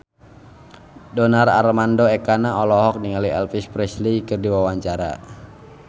Donar Armando Ekana olohok ningali Elvis Presley keur diwawancara